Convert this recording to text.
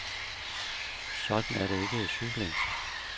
Sådan er det ikke i cykling.